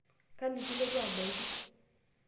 kanu kilotu aibaki